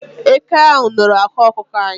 Eke ahu nọrọ ákwà ọkụkọ anyi